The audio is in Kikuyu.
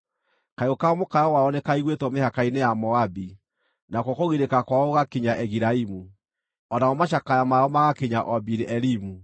Kayũ ka mũkayo wao nĩkaiguĩtwo mĩhaka-inĩ ya Moabi; nakuo kũgirĩka kwao gũgakinya Egilaimu, o namo macakaya mao magakinya o Biri-Elimu.